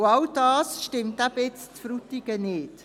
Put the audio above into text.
All das stimmt im Fall Frutigen nicht.